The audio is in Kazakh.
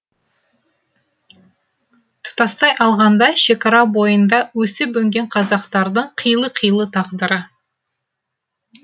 тұтастай алғанда шекара бойында өсіп өнген қазақтардың қилы қилы тағдыры